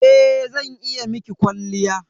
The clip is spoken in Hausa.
Eh zan iya miki kwalliya.